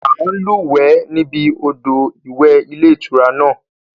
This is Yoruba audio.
À ń lúwẹ̀ ẹ́ níbi odò ìwẹ̀ ilé-ìtura náà